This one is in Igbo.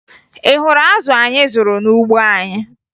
Ị hụrụ azụ anyị zụrụ n'ugbo anyị?